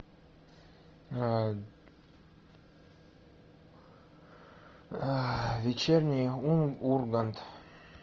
вечерний ургант